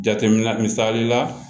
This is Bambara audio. Jateminɛ misali la